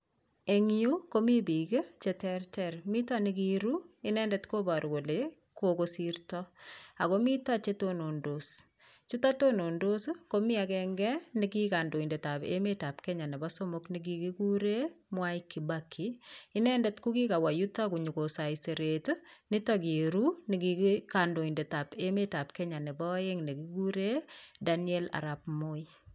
Eng yu komi biik cheterter, mi nekiiru inendet koparu kole kokosirto ako mito che tunundos, chuto tunundos, komi agenge neki kandoindetab emet Kenya nebo somok nekikuure Mwai Kibaki, inendet ko kikawa yuto konyoko saiseret nito kiiru neki kandoindetab emetab Kenya nebo aeng nekikuure Daniel Arap Moi.